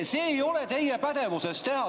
See ei ole teie pädevuses teha.